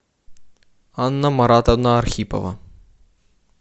анна маратовна архипова